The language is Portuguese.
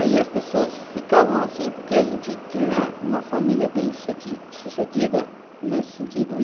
Aí as pessoas ficavam assim, porque a gente tinha uma família bem suce, sucedida nesse sentido.